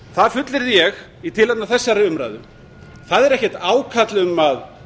það fullyrði ég í tilefni af þessari umræðu það er ekkert ákall um að